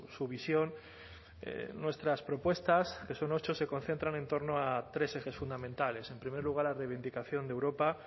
su visión nuestras propuestas que son ocho se concentran en torno a tres ejes fundamentales en primer lugar la reivindicación de europa